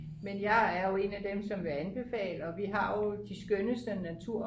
men jeg er jo en af dem som vil anbefale og vi har jo de skønneste natur